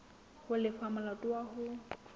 ho lefa molato wa hao